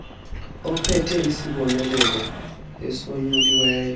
ophethe isibonelelo esonyuliweyo